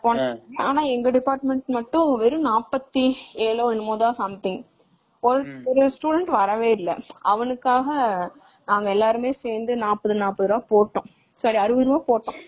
ஆனா எங்க department மட்டும் வெறும் நாற்பத்தி ஏலோ என்னமோ தான் something ஒரு student வரவே இல்ல.அப்பறம் நாங்க எல்லாருமே சேந்து நாப்பது ருபாய் போட்டோம். sorry அறுபது ருபாய் போட்டோம்.